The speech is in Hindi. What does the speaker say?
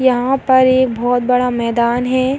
यहाँ पर एक बहुत बड़ा मैदान है।